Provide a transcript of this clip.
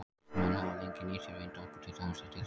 Menn hafa lengi nýtt sér vindorku, til dæmis til siglinga.